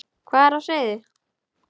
Hvað er á seyði?